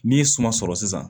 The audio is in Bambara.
N'i ye suma sɔrɔ sisan